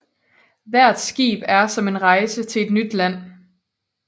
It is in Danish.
Hvert skib er som en rejse til en nyt land